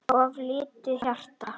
of lítið hjarta